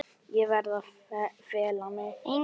Ég verð að fela mig.